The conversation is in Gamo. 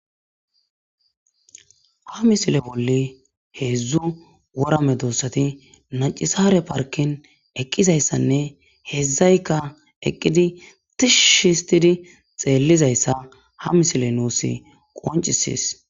Ha missile bolli hezu wora medosathi neci sare parken eqizaysane hezzayka eqidi tishshi histhidi xelizaytha ha missile nussi qoncisess.